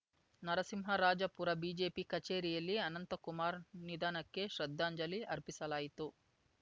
Narasimharajapura BJP ಕಚೇರಿಯಲ್ಲಿ ಅನಂತಕುಮಾರ್‌ ನಿಧನಕ್ಕೆ ಶ್ರದ್ದಾಂಜಲಿ ಅರ್ಪಿಸಲಾಯಿತು